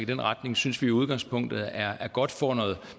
den retning synes vi i udgangspunktet er godt får noget